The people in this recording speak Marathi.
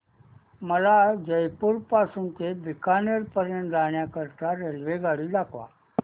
मला जयपुर पासून ते बीकानेर पर्यंत जाण्या करीता रेल्वेगाडी दाखवा